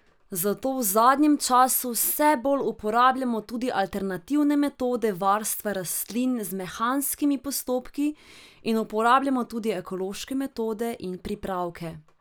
Zato v zadnjem času vse bolj uporabljamo tudi alternativne metode varstva rastlin z mehanskimi postopki in uporabljamo tudi ekološke metode in pripravke.